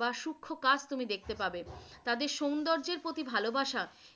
বা শুক্ষ কাজ তুমি দেখতে পাবে, তাদের সৌন্দজ্জের প্রতি ভালবাসা